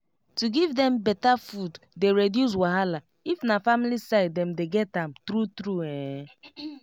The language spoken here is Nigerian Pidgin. to give dem better food dey reduce wahala if na family side dem dey get am true true ehn